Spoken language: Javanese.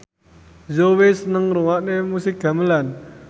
Zhao Wei seneng ngrungokne musik gamelan